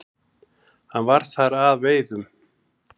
Hann var þar að veiðum.